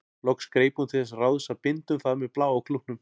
Loks greip hún til þess ráðs að binda um það með bláa klútnum.